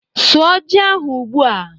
Sụọ ji ahu ugbu a